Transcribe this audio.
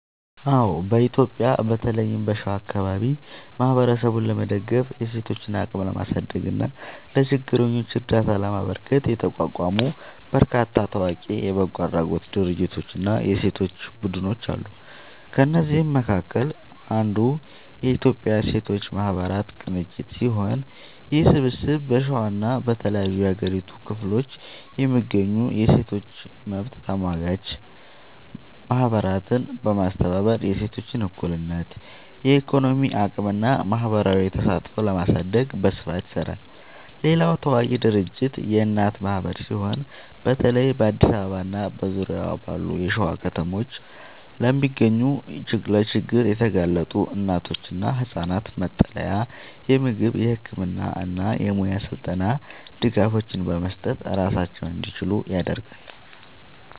አዎ፣ በኢትዮጵያ በተለይም በሸዋ አካባቢ ማህበረሰብን ለመደገፍ፣ የሴቶችን አቅም ለማሳደግ እና ለችግረኞች እርዳታ ለማበርከት የተቋቋሙ በርካታ ታዋቂ የበጎ አድራጎት ድርጅቶችና የሴቶች ቡድኖች አሉ። ከእነዚህም መካከል አንዱ የኢትዮጵያ ሴቶች ማህበራት ቅንጅት ሲሆን፣ ይህ ስብስብ በሸዋና በተለያዩ የሀገሪቱ ክፍሎች የሚገኙ የሴቶች መብት ተሟጋች ማህበራትን በማስተባበር የሴቶችን እኩልነት፣ የኢኮኖሚ አቅምና ማህበራዊ ተሳትፎ ለማሳደግ በስፋት ይሰራል። ሌላው ታዋቂ ድርጅት የእናት ማህበር ሲሆን፣ በተለይ በአዲስ አበባና በዙሪያዋ ባሉ የሸዋ ከተሞች ለሚገኙ ለችግር የተጋለጡ እናቶችና ህጻናት መጠለያ፣ የምግብ፣ የህክምና እና የሙያ ስልጠና ድጋፎችን በመስጠት ራሳቸውን እንዲችሉ ያደርጋል።